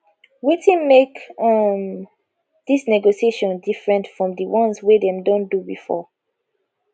wetin make um dis negotiation different from di ones wey dem don do before